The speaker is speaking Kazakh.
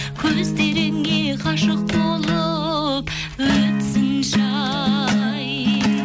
көздеріңе ғашық болып өтсінші ай